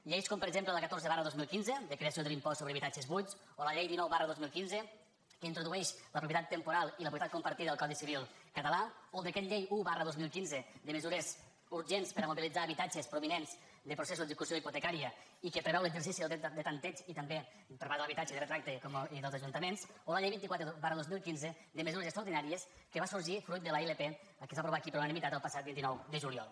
lleis com per exemple la catorze dos mil quinze de creació de l’impost sobre habitatges buits o la llei dinou dos mil quinze que introdueix la propietat temporal i la propietat compartida al codi civil català o el decret llei un dos mil quinze de mesures urgents per a mobilitzar habitatges provinents de processos d’execució hipotecària i que preveu l’exercici del dret de tanteig i també per part de l’habitatge de retracte i dels ajuntaments o la llei vint quatre dos mil quinze de mesures extraordinàries que va sorgir fruit de la ilp que es va aprovar aquí per unanimitat el passat vint nou de juliol